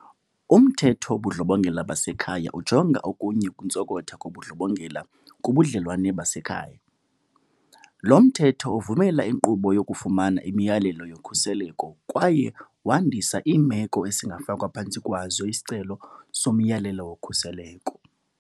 UMthetho wobuNdlobongela baseKhaya ujonga okunye ukuntsokotha kobundlobongela kubudlelwane basekhaya. Lo Mthetho uvumela inkqubo yokufumana imiyalelo yokhuseleko kwaye wandisa iimeko esingafakwa phantsi kwazo isicelo somyalelo wokhuseleko.